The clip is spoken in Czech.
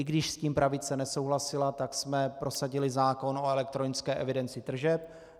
I když s tím pravice nesouhlasila, tak jsme prosadili zákon o elektronické evidenci tržeb.